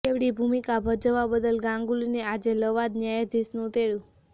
બેવડી ભૂમિકા ભજવવા બદલ ગાંગુલીને આજે લવાદ ન્યાયાધીશનું તેડું